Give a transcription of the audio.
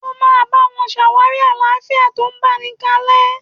Ó máa bá wọn ṣàwárí àlàáfíà tó báni kalẹ́.!